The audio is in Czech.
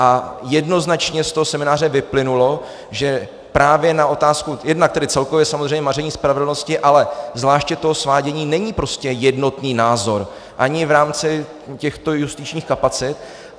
A jednoznačně z toho semináře vyplynulo, že právě na otázku jednak tedy celkově samozřejmě maření spravedlnosti, ale zvláště toho svádění není prostě jednotný názor ani v rámci těchto justičních kapacit.